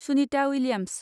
Sunita Williams